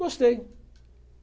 Gostei.